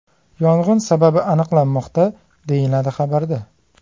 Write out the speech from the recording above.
Yong‘in sababi aniqlanmoqda, deyiladi xabarda.